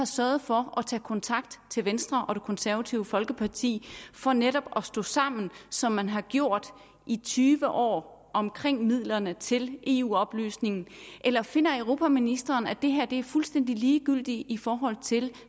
sørget for at tage kontakt til venstre og det konservative folkeparti for netop at stå sammen som man har gjort i tyve år omkring midlerne til eu oplysning eller finder europaministeren at det her er fuldstændig ligegyldigt i forhold til